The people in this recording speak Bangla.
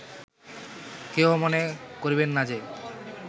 কেহ মনে করিবেন না যে